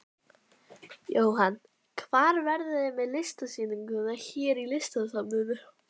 Jóhann: Hvar verðið þið með sýninguna hér í Listasafninu?